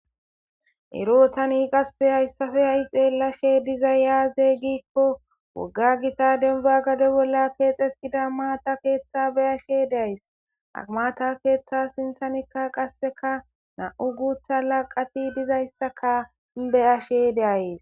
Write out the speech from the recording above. Ero tani hayissappe hai xelashshe dizayisi aze gikko wogga gita demibba gade bola keeththetida mata keeththa beashe deayisi ha mata keeththa siniththanikka qasekka namu guththa laqati deizayisakka beashe deayisi